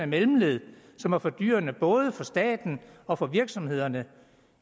mellemled som er fordyrende både for staten og for virksomhederne